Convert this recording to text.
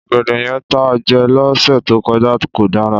Ọ̀gẹ̀dẹ̀ yẹn tá a jẹ lọ́sẹ̀ tó kọjá kò dára.